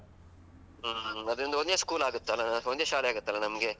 ಹಾ, ಅದ್ರಿಂದ ಒಂದೇ school ಆಗುತ್ತಲ್ಲ ಒಂದೇ ಶಾಲೆ ಆಗುತ್ತಲ್ಲ ನಮ್ಗೆ.